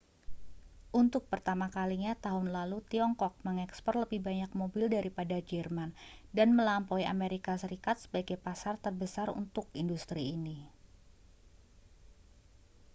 untuk pertama kalinya tahun lalu tiongkok mengekspor lebih banyak mobil daripada jerman dan melampaui amerika serikat sebagai pasar terbesar untuk industri ini